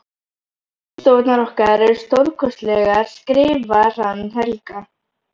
Vinnustofurnar okkar eru stórkostlegar skrifar hann Helga.